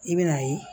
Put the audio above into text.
I bɛ n'a ye